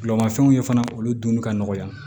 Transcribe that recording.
Bolimafɛnw ye fana olu dunni ka nɔgɔya